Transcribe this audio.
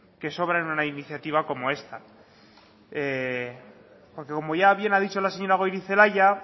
que sobran en una iniciativa como esta como ya bien ha dicho la señora goirizelaia